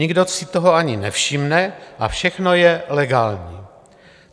Nikdo si toho ani nevšimne a všechno je legální.